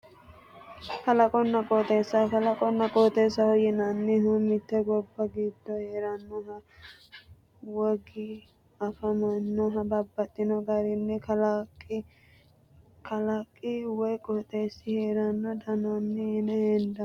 Kalaqonna qooxeessa kalaqonna qooxeessaho yineemmohu mitte gobba giddo heerannohu wogi afamannohu babbaxxino gari kalaqi woyi qooxeessi heerara dandaanno yine hendeemmo